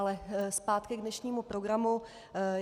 Ale zpátky k dnešnímu programu.